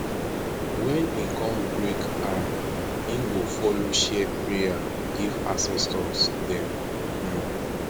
wen him kon break am him go follow share prayer give ancestors dem um